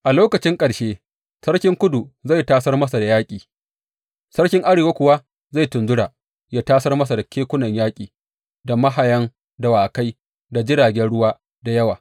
A lokaci ƙarshe sarkin Kudu zai tasar masa da yaƙi, sarkin Arewa kuwa zai tunzura, yă tasar masa da kekunan yaƙi da mahayan dawakai, da jiragen ruwa da yawa.